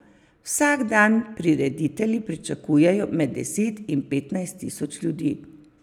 Vsak dan prireditelji pričakujejo med deset in petnajst tisoč ljudi.